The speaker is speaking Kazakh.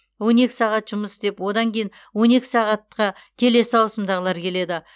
он екі сағат жұмыс істеп одан кейін он екі сағатқа келесі ауысымдағылар келеді